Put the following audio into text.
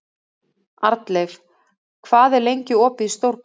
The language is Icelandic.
Arnleif, hvað er lengi opið í Stórkaup?